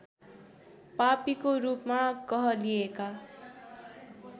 पापीको रूपमा कहलिएका